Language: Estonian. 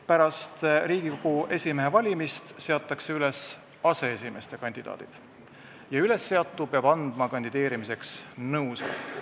Pärast Riigikogu esimehe valimist seatakse üles aseesimeeste kandidaadid ja ülesseatu peab andma kandideerimiseks nõusoleku.